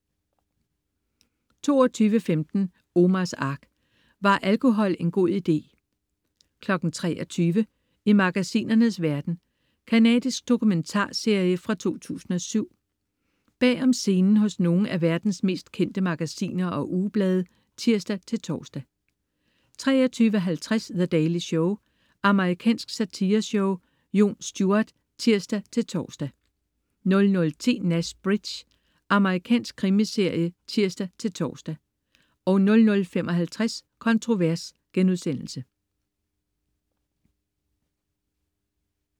22.15 Omars Ark. Var alkohol en god idé? 23.00 I magasinernes verden. Canadisk dokumentarserie fra 2007. Bag om scenen hos nogle af verdens mest kendte magasiner og ugeblade (tirs-tors) 23.50 The Daily Show. Amerikansk satireshow . Jon Stewart (tirs-tors) 00.10 Nash Bridges. Amerikansk krimiserie (tirs-tors) 00.55 Kontrovers*